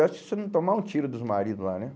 Acho que se não tomar um tiro dos maridos lá, né?